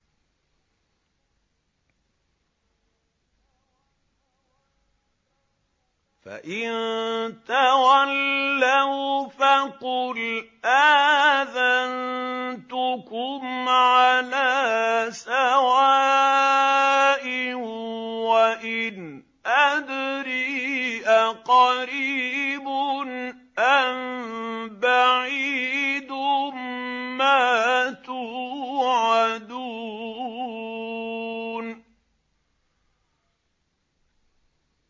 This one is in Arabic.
فَإِن تَوَلَّوْا فَقُلْ آذَنتُكُمْ عَلَىٰ سَوَاءٍ ۖ وَإِنْ أَدْرِي أَقَرِيبٌ أَم بَعِيدٌ مَّا تُوعَدُونَ